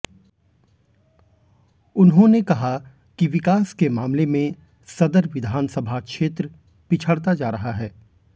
उन्होंने कहा कि विकास के मामले में सदर विस क्षेत्र पिछड़ता जा रहा है